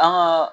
An ka